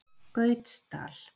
Gautsdal